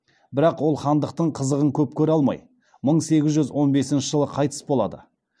бірақ ол хандықтың қызығын көп көре алмай мың сегіз жүз он бесінші жылы қайтыс болады